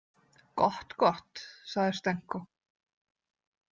Gott, gott, sagði Stenko.